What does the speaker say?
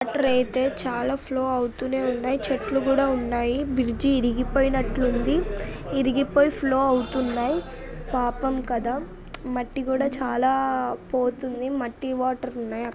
నీళ్లయితే చాలా ఫ్లో అవుతూనే ఉన్నాయి . చెట్లు కూడా ఉన్నాయి. బ్రిడ్జి విరిగిపోయినట్లు ఉంది . విరిగిపోయి ఫ్లో అవుతున్నాయి. పాపం కదా మట్టి కూడా చాలా పోతుంది .మట్టి వాటర్ ఉన్నాయి అక్కడ.